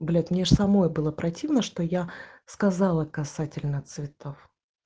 блять мне аж самой было противно что я сказала касательно цветов